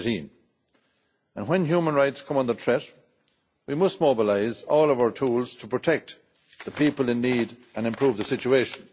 2018. When human rights come under threat, we must mobilise all of our tools to protect the people in need and improve the situation.